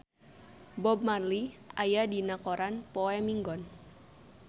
Bob Marley aya dina koran poe Minggon